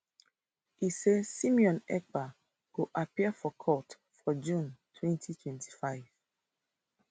e saysimon ekpa go appear for court for june 2025